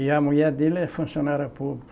E a mulher dele é funcionária pública.